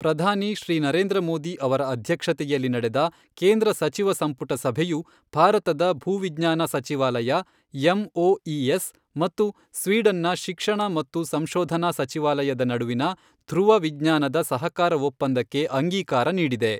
ಪ್ರಧಾನಿ ಶ್ರೀ ನರೇಂದ್ರ ಮೋದಿ ಅವರ ಅಧ್ಯಕ್ಷತೆಯಲ್ಲಿ ನಡೆದ ಕೇಂದ್ರ ಸಚಿವ ಸಂಪುಟ ಸಭೆಯು, ಭಾರತದ ಭೂ ವಿಜ್ಞಾನ ಸಚಿವಾಲಯ ಎಂಒಇಎಸ್ ಮತ್ತು ಸ್ವೀಡನ್ನ ಶಿಕ್ಷಣ ಮತ್ತು ಸಂಶೋಧನಾ ಸಚಿವಾಲಯದ ನಡುವಿನ ಧ್ರುವ ವಿಜ್ಞಾನದ ಸಹಕಾರ ಒಪ್ಪಂದಕ್ಕೆ ಅಂಗೀಕಾರ ನೀಡಿದೆ.